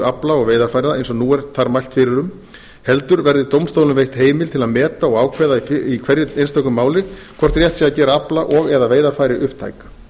afla og veiðarfæra eins og nú er þar mælt fyrir um heldur verði dómstólum veitt heimild til að meta og ákveða í hverju einstöku máli hvort rétt sé að gera afla og eða veiðarfæri upptæk